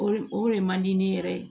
O o re man di ne yɛrɛ ye